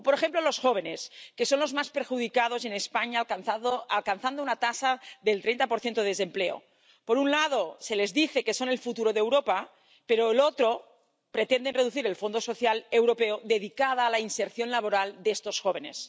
O, por ejemplo, los jóvenes, que son los más perjudicados en España, alcanzando una tasa de desempleo del 30 Por un lado, se les dice que son el futuro de Europa pero, por el otro, pretenden reducir el Fondo Social Europeo, dedicado a la inserción laboral de estos jóvenes.